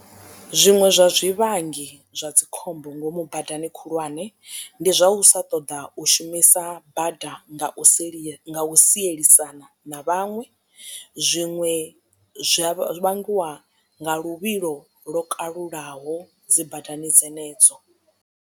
Zwiṅwe zwa zwivhangi zwa dzikhombo ngomu badani khulwane ndi zwa u sa ṱoḓa u shumisa bada nga u sia nga u sielisana na vhaṅwe zwiṅwe zwi a vhangiwa nga luvhilo lwo kalulaho dzi badani dzenedzo.